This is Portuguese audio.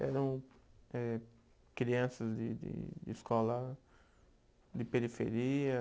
Eram eh crianças de de de escola de periferia?